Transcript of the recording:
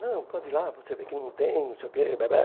Não, pode ir lá, você vê que não tem, não sei o quê.